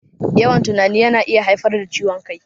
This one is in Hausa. Yawan tunani yana iya haifar da ciwon kai